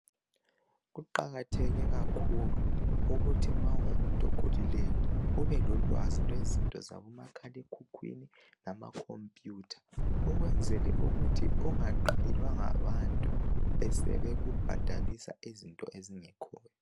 Kuqakatheke kakhulu ukuthi ma ungumuntu okhulileyo ubelolwazi lwezinto zaboma khala ekhukhwini lama computer, ukwenzela ukuthi ungaqalelwa ngabantu besebeku bhadalisa izinto ezingekhoyo.